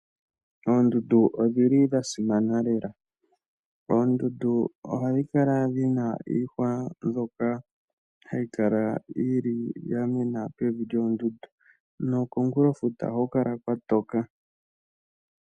Oondundu odhili dha simana lela, oondundu ohadhi kala dhina iihwa mbyoka hayi kala yili yamena pevi lyoondundu nokomukulo futa ohaku kala kwa toka.